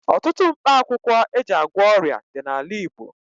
Ọtụtụ mkpakwụkwọ e ji agwọ ọrịa dị n'ala Igbo.